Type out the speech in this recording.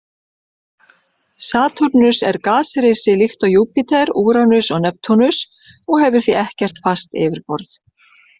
Satúrnus er gasrisi líkt og Júpíter, Úranus og Neptúnus og hefur því ekkert fast yfirborð.